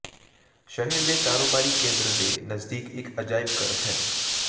ਸ਼ਹਿਰ ਦੇ ਕਾਰੋਬਾਰੀ ਕੇਂਦਰ ਦੇ ਨਜ਼ਦੀਕ ਇਕ ਅਜਾਇਬ ਘਰ ਹੈ